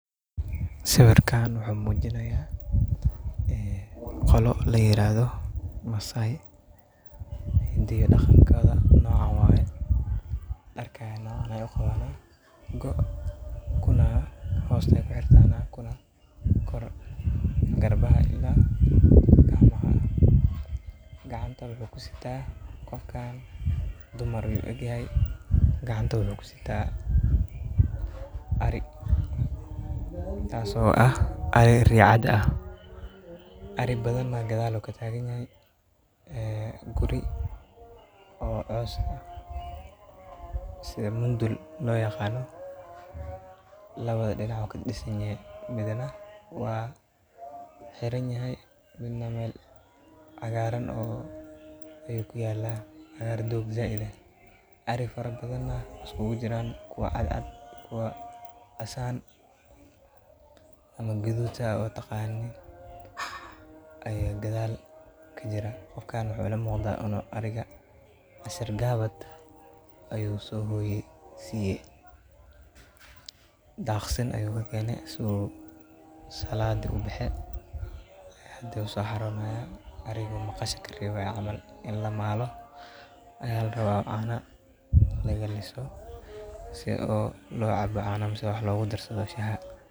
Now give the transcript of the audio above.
Sawirkan wuxuu muujinayaa, ee, qolo la yiraahdo Maasai. Diyaarka nooca waaye dharkaana ay u qabanay. Goo kuna hoosta ku xirtaana kuna kora garbaha ayeeyla gacanta wuxuu ku sitaa. Qofkaan dumar u egeeyay gacanta wey ku sitaa. Arii taaso ah ari ricada ah. Ari badan ma gadaal oo ka taaganyahay, ee, guri oo coos ah. Sidii mundul lo yaqaano, labaad dhinici waka disminaya midana waa xiran yahay midna meel. cagaaran oo ay ku yaalaan cagaar doog zaide. Ari fara badanna isku gujiraan kuwa cad cad kuwa asaan ama guduta u taqaanayn ayoo gadaal ka jira. Qofkaan wuxuu la muqda ino ariga. Ashar gaabad ayuu soo hooyi siiyay. Dhaqsan ayuu keene suu salaade u baxee haddii uu soo haronaya arigu maqashiga iyo camaal. In la maalo yalarawa oo caanah la gali so. Isagoo loo caaba cano mise wax la gu dar sato shaha.